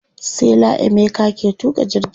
sela emeka ke tuƙa jirgin